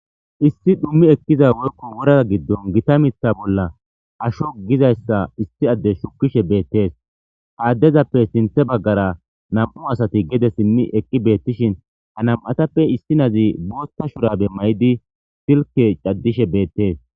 Issi dhum eqiza woyko wora gidon Gita Mitha bolla asho gizays issi adey shukishe betes, ha adezappe sinthe bagara 2 asat gede sim eqi betishn istappe issinaz bootha shurabe mayid silke cadishe betes.